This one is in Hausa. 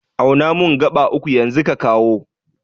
Auna mun gaɓa uku yanzu ka kawo